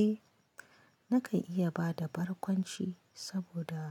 Eh, na kan iya bada barkwanci saboda